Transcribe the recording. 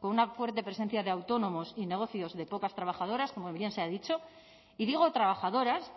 con una fuerte presencia de autónomos y negocios de pocas trabajadoras como bien se ha dicho y digo trabajadoras